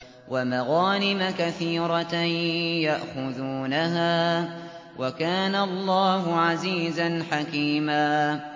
وَمَغَانِمَ كَثِيرَةً يَأْخُذُونَهَا ۗ وَكَانَ اللَّهُ عَزِيزًا حَكِيمًا